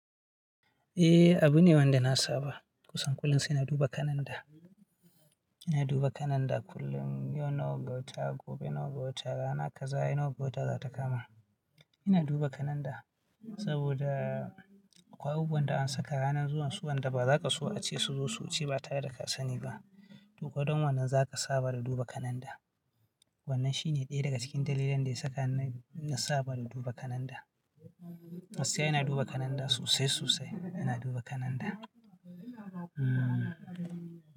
Eh, abu ne wanda na saba. Kusan kullum sai na duba kalanda. Ina duba kalanda kullum, yau nawa ga wata, gobe nawa ga wata, rana kaza nawa ga wata za ta kama. Ina duba kalanda saboda akwai abubuwan da an saka ranar zuwan su wanda bazaka so a ce su zo su wuce ba tare da kasani ba, to ko ɗon wannan za ka saba da duba kalanda. Wannan shi ne ɗaya daga cikin dalilan da ya saka ni na saba da duba kalanda. Gaskiya ina duba kalanda sosai sosai, ina duba kalanda.